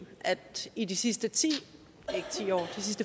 at i de sidste